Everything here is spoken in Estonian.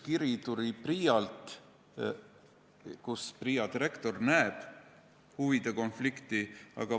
PRIA-lt tuli üks kiri, kus PRIA direktor ütles, et ta näeb huvide konflikti.